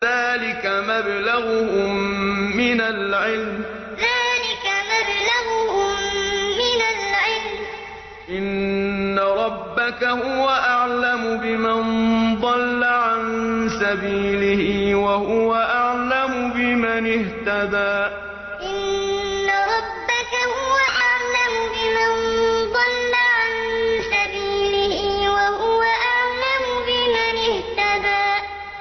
ذَٰلِكَ مَبْلَغُهُم مِّنَ الْعِلْمِ ۚ إِنَّ رَبَّكَ هُوَ أَعْلَمُ بِمَن ضَلَّ عَن سَبِيلِهِ وَهُوَ أَعْلَمُ بِمَنِ اهْتَدَىٰ ذَٰلِكَ مَبْلَغُهُم مِّنَ الْعِلْمِ ۚ إِنَّ رَبَّكَ هُوَ أَعْلَمُ بِمَن ضَلَّ عَن سَبِيلِهِ وَهُوَ أَعْلَمُ بِمَنِ اهْتَدَىٰ